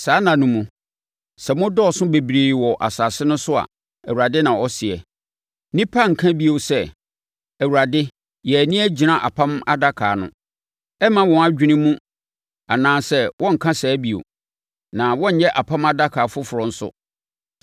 Saa nna no mu, sɛ mo dɔɔso bebree wɔ asase no so a,” Awurade na ɔseɛ, “nnipa renka bio sɛ, ‘ Awurade yɛn ani agyina apam adaka no.’ Ɛremma wɔn adwene mu anaa wɔrenka saa bio; na wɔrenyɛ apam adaka foforɔ nso.